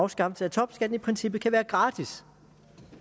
afskaffelse af topskatten i princippet kan være gratis